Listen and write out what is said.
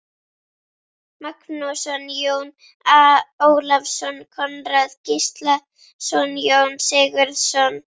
Magnússon, Jón Ólafsson, Konráð Gíslason, Jón Sigurðsson